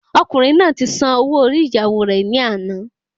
Ọkùnrin náà ti san ọwọ orí ìyàwó rè ní àná